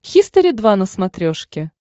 хистори два на смотрешке